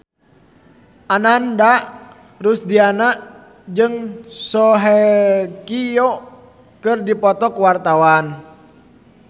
Ananda Rusdiana jeung Song Hye Kyo keur dipoto ku wartawan